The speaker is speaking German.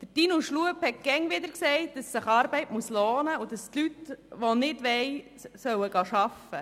Martin Schlup hat immer wieder gesagt, dass sich Arbeit lohnen muss und dass Leute, die nicht wollen, arbeiten sollen.